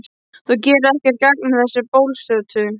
Þú gerir ekkert gagn með þessu bölsóti,